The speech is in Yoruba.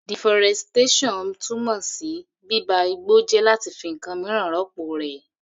Deforestation túmọ̀ sí bíba igbó jẹ́ láti fi ǹkan míràn rọ́pọ̀ rẹ̀.